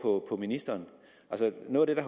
ministeren men noget af det